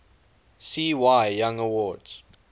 cy young awards